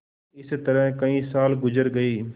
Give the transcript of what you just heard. इस तरह कई साल गुजर गये